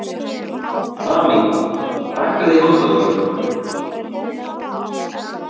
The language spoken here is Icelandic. Amý, hækkaðu í hátalaranum.